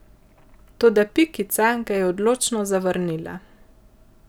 Toda Pikica ga je odločno zavrnila.